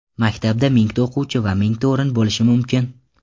Maktabda mingta o‘quvchi va mingta o‘rin bo‘lishi mumkin.